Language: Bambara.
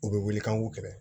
U bɛ wuli k'an k'u kɛrɛ